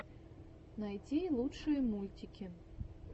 найти лучшие мультики